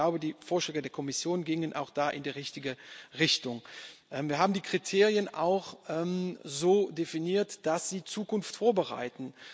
Ich glaube, die Vorschläge der Kommission gingen auch da in die richtige Richtung. Wir haben die Kriterien auch so definiert, dass sie Zukunft vorbereiten.